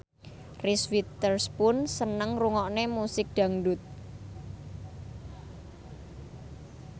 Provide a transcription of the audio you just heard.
Reese Witherspoon seneng ngrungokne musik dangdut